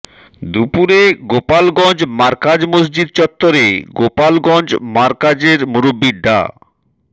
দুপুরে গোপালগঞ্জ মারকাজ মসজিদ চত্বরে গোপালগঞ্জ মারকাজের মুরব্বি ডা